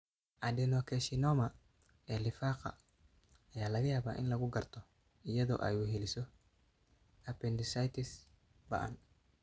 Adenocarcinoma ee lifaaqa ayaa laga yaabaa in lagu garto iyada oo ay weheliso appendicitis ba'an.